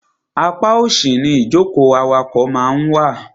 Apá òsì ni ìjókòó awakọ̀ máa ń wà.